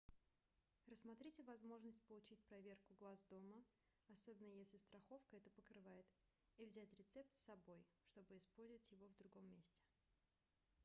рассмотрите возможность получить проверку глаз дома особенно если страховка это покрывает и взять рецепт с собой чтобы использовать его в другом месте